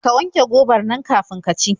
Ka wanke gobar nan kafin ki ci.